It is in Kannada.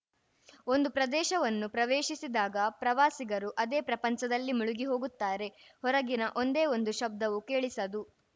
ಒಂದು ಪ್ರದೇಶವನ್ನು ಪ್ರವೇಶಿಸಿದಾಗ ಪ್ರವಾಸಿಗರು ಅದೇ ಪ್ರಪಂಚದಲ್ಲಿ ಮುಳುಗಿ ಹೋಗುತ್ತಾರೆ ಹೊರಗಿನ ಒಂದೇ ಒಂದು ಶಬ್ದವೂ ಕೇಳಿಸದು